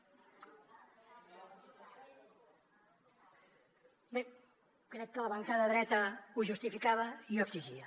bé crec que la bancada dreta ho justificava i ho exigia